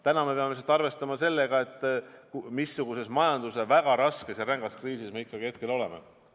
Täna aga peame lihtsalt arvestama sellega, missuguses majanduse väga raskes rängas kriisis me ikkagi hetkel oleme.